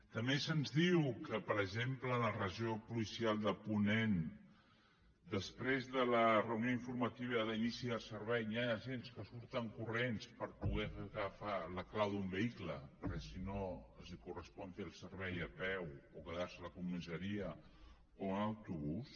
també se’ns diu que per exemple en la regió policial de ponent després de la reunió informativa d’inici del servei hi han agents que surten corrents per poder agafar la clau d’un vehicle perquè si no els correspon fer el servei a peu o quedar se a la comissaria o amb autobús